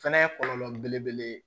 Fɛnɛ ye kɔlɔlɔ belebele ye